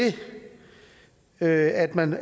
at at man